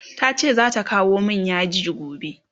tace zata kawo min yaji gobe